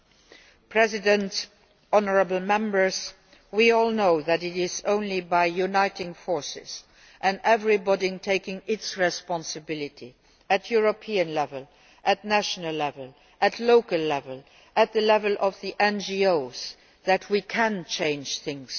Madam President, honourable Members, we all know that it is only by uniting forces and by everybody taking their responsibility at European level, at national level, at local level and at the level of the NGOs that we can change things.